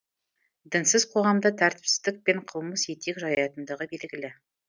дінсіз қоғамда тәртіпсіздік пен қылмыс етек жаятындығы белгілі